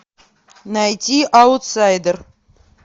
найди аутсайдер